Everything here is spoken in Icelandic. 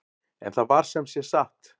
En það var sem sé satt.